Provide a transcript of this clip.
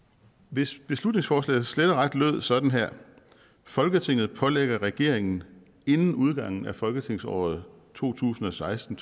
hvis beslutningsforslaget slet og ret lød sådan her folketinget pålægger regeringen inden udgangen af folketingsåret to tusind og seksten